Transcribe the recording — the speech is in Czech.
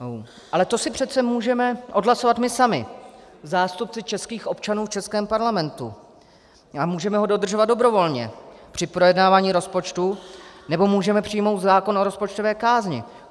Ale to si přece můžeme odhlasovat my sami, zástupci českých občanů v českém parlamentu, a můžeme ho dodržovat dobrovolně při projednávání rozpočtu nebo můžeme přijmout zákon o rozpočtové kázni.